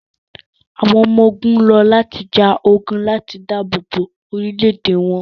àwọn ọmọ-ogun lọ lati ja ogun lati daabobo orilẹ-ede wọn